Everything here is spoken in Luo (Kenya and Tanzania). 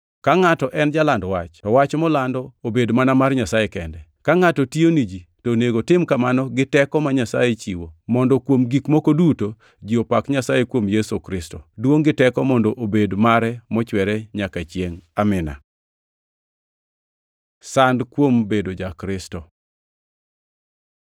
Ka ngʼato en jaland wach, to wach molando Obed mana mar Nyasaye kende. Ka ngʼato tiyo ni ji, to onego otim kamano gi teko ma Nyasaye chiwo, mondo kuom gik moko duto ji opak Nyasaye kuom Yesu Kristo. Duongʼ gi teko mondo obed mare mochwere manyaka chiengʼ. Amin. Sand kuom bedo ja-Kristo